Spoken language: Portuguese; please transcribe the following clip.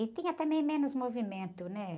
E tinha também menos movimento, né?